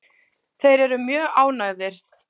Þeir eru mjög ánægðir.